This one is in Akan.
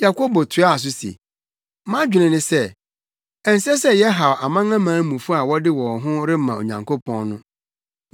Yakobo toaa so se, “Mʼadwene ne sɛ, ɛnsɛ sɛ yɛhaw amanamanmufo a wɔde wɔn ho rema Onyankopɔn no.